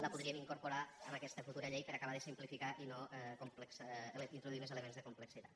la podríem incorporar en aquesta futura llei per acabar de simplificar i no introduir més elements de complexitat